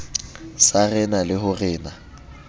sa rena le ho rena